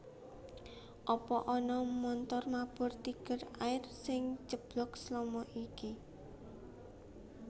Apa ana montor mabur Tiger Air sing ceblok selama iki